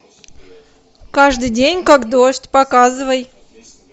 каждый день как дождь показывай